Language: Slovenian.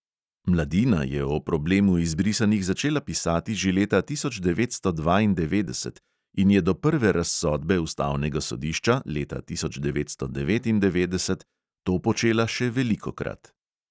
Mladina je o problemu izbrisanih začela pisati že leta tisoč devetsto dvaindevetdeset in je do prve razsodbe ustavnega sodišča leta tisoč devetsto devetindevetdeset to počela še velikokrat.